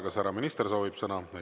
Kas härra minister soovib sõna?